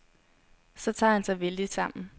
Så tager han sig vældigt sammen.